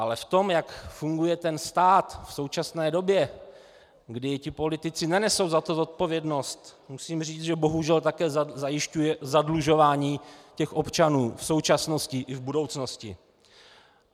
Ale v tom, jak funguje ten stát v současné době, kdy ti politici nenesou za to zodpovědnost, musím říci, že bohužel také zajišťuje zadlužování těch občanů v současnosti i v budoucnosti.